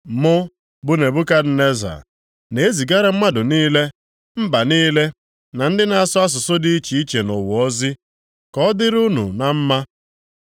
Mụ bụ Nebukadneza, Na e zigara mmadụ niile, mba niile, na ndị na-asụ asụsụ dị iche iche nʼụwa ozi: Ka ọ dịrị unu na mma!